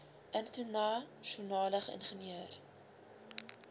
interna sionale ingenieur